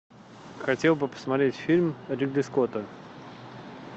хотел бы посмотреть фильм ридли скотта